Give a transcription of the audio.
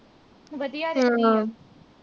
ਹਾਂ ਹਾਂ